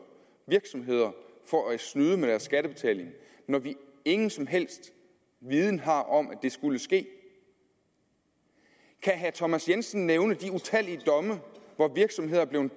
virksomheder for at snyde med deres skattebetaling når vi ingen som helst viden har om at det skulle ske kan herre thomas jensen nævne de utallige domme hvor virksomheder er blevet